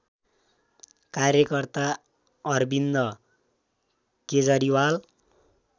कार्यकर्ता अरविन्द केजरीवाल